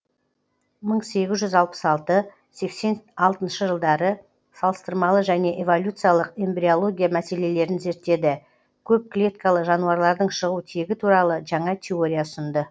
мың сегіз жүз алпыс алты сексен алтыншы жылдары салыстырмалы және эволюциялық эмбриология мәселелерін зерттеді көп клеткалы жануарлардың шығу тегі туралы жаңа теория ұсынды